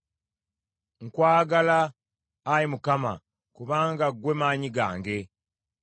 Nkwagala Ayi Mukama kubanga ggwe maanyi gange.